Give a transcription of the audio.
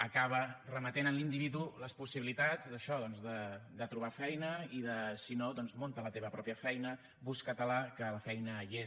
acaba remetent en l’individu les possibilitats d’això de trobar feina i de si no doncs munta la teva pròpia feina busca te la que la feina hi és